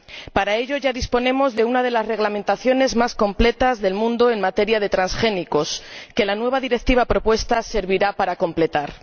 Para ello, ya disponemos de una de las reglamentaciones más completas del mundo en materia de transgénicos, que la nueva directiva propuesta servirá para completar.